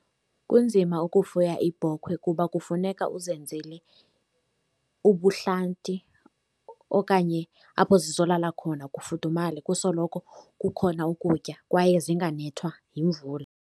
Kunzima ukufuya iibhokhwe kuba kufuneka uzenzele ubuhlanti okanye apho zizolala khona kufudumale, kusoloko kukhona ukutya, kwaye zinganceda yimvula.